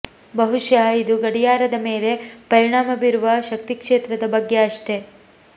ಬಹುಶಃ ಇದು ಗಡಿಯಾರದ ಮೇಲೆ ಪರಿಣಾಮ ಬೀರುವ ಶಕ್ತಿ ಕ್ಷೇತ್ರದ ಬಗ್ಗೆ ಅಷ್ಟೆ